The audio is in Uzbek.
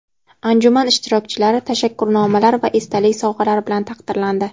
Anjuman ishtirokchilari tashakkurnomalar va esdalik sovg‘alari bilan taqdirlandi.